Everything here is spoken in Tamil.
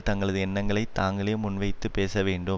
தங்களது எண்ணங்களை தாங்களே முன்வந்து பேசவேண்டும்